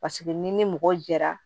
Paseke n'i ni mɔgɔ jɛra